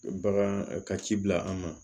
Bagan ka ci bila an ma